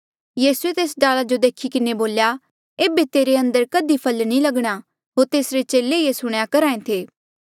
यीसूए तेस डाला जो देखी के बोल्या कि ऐबे तेरे अंदर कधी फल नी लगणा होर तेसरे चेले सुणेया करहा ऐें थे